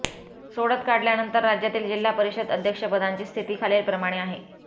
सोडत काढल्यानंतर राज्यातील जिल्हा परिषद अध्यक्षपदांची स्थिती खालीलप्रमाणे आहे